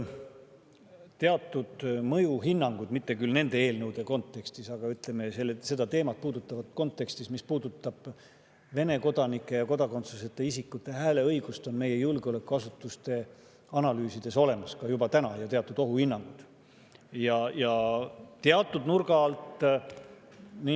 Teatud mõjuhinnangud, mitte küll nende eelnõude kontekstis, aga selle teema kontekstis, mis puudutab Vene kodanike ja kodakondsuseta isikute hääleõigust, on meie julgeolekuasutuste analüüsides juba olemas, ka ohuhinnangud teatud nurga alt.